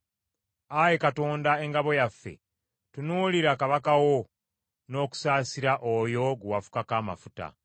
Ayi Katonda, Engabo yaffe, tunuulira kabaka wo n’okusaasira oyo gwe wafukako amafuta.